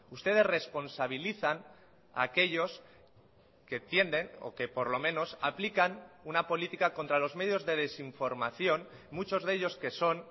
ustedes responsabilizan a aquellos que tienden o que por lo menos aplican una política contra los medios de desinformación muchos de ellos que son